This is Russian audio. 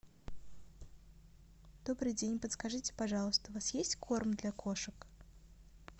добрый день подскажите пожалуйста у вас есть корм для кошек